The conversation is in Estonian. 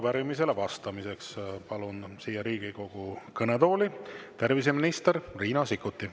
Ja arupärimisele vastamiseks palun siia Riigikogu kõnetooli terviseminister Riina Sikkuti.